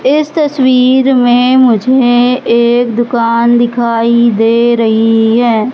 इस तस्वीर में मुझे एक दुकान दिखाई दे रही है।